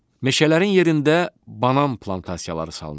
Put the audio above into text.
Meşələrin yerində banan plantasiyaları salınır.